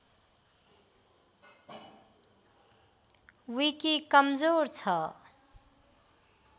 विकी कमजोर छ